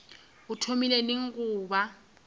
o thomile neng go ba